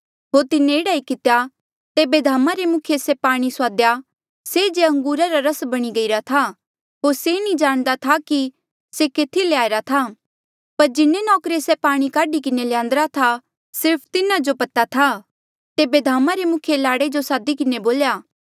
होर तिन्हें एह्ड़ा ही कितेया जेबे धामा रे मुखिये से पाणी सुआदेया से जे अंगूरा रा रस बणी गईरा था होर से नी जाणदा था कि से केथी ले आईरा था पर जिन्हे नौकरे से पाणी काढी किन्हें ल्यान्दिरा था सिर्फ तिन्हा जो पता था तेबे धामा रे मुखिये लाड़े जो सादी किन्हें बोल्या